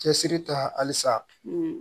Cɛsiri ta halisa